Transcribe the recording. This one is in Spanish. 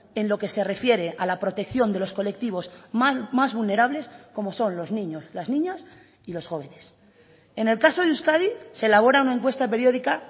en lo que se refiere a la protección de los colectivos más vulnerables como son los niños las niñas y los jóvenes en el caso de euskadi se elabora una encuesta periódica